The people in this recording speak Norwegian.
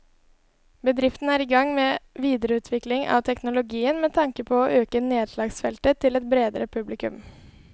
Bedriften er i gang med videreutvikling av teknologien med tanke på å øke nedslagsfeltet til et bredere publikum.